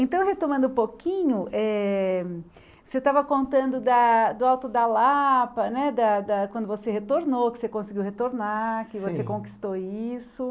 Então, retomando um pouquinho, eh você estava contando da do Alto da Lapa né, da da quando você retornou, que você conseguiu retornar, que você conquistou isso.